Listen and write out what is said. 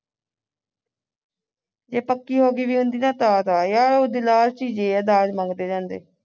ਜੇ ਪੱਕੀ ਹੋ ਗਈ ਹੁੰਦੀ ਤਾਂ ਫੇਰ ਆ ਯਾਰ ਉਹ ਲਾਲਚੀ ਜਹੇ ਆ ਦਾਜ ਮੰਗਦੇ ਰਹਿੰਦੇ